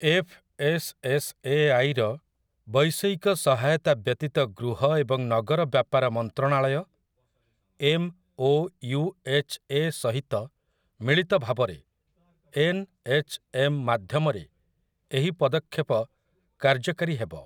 F. S. S. A. ଆଇ.ର ବୈଷୟିକ ସହାୟତା ବ୍ୟତୀତ ଗୃହ ଏବଂ ନଗର ବ୍ୟାପାର ମନ୍ତ୍ରଣାଳୟ, M. O. U. H. A., ସହିତ ମିଳିତ ଭାବରେ ଏନ୍‌.ଏଚ୍.ଏମ୍. ମାଧ୍ୟମରେ ଏହି ପଦକ୍ଷେପ କାର୍ଯ୍ୟକାରୀ ହେବ ।